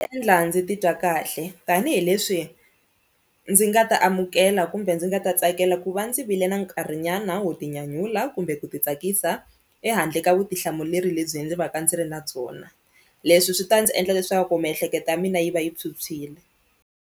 Endla ndzi titwa kahle tanihileswi ndzi nga ta amukela kumbe ndzi nga ta tsakela ku va ndzi vile na nkarhinyana wo tinyanyula kumbe ku ti tsakisa ehandle ka vutihlamuleri lebyi ndzi va ka ndzi ri na byona, leswi swi ta ndzi endla leswaku miehleketo ya mina yi va yi phyuphyile.